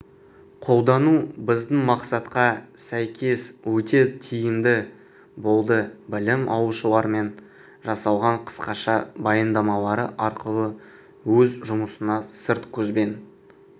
қолдану біздің мақсатқа сәйкес өте тиімді болдыбілім алушылар -пен жасалған қысқаша баяндамалары арқылы өз жұмысына сырт көзбен